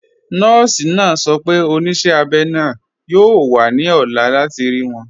Nọọ̀si naa sọ̀ pẹ̀ onísẹ̀ abẹ́ naa yóò wà ní ọ̀là láti rí wọn.